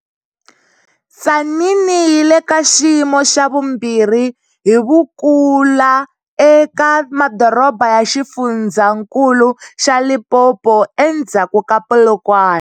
Tzaneen yi le ka xiyimo xa vumbirhi hi vukula eka madoroba ya xifundzankulu xa Limpopo endzhaku ka Polokwane.